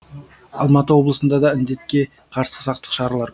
алматы облысында да індетке қарсы сақтық шаралар